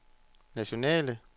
nationale